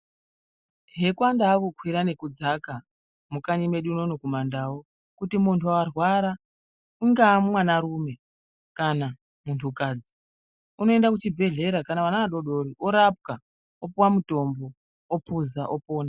Yakange kwava kukwira nekudzaka mukanyi mwedu munomu mumandau kuti muntu arwara ungaa mwana rume kana muntu kadzi. Unoenda kuchibhedhlera kana mwana udodori orapwa opuwa mutombo opuza opona.